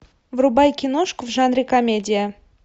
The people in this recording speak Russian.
врубай киношку в жанре комедия